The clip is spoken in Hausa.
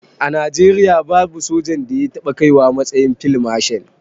A najeriya babu sojan da ya taɓa kaiwa matsayin field marshal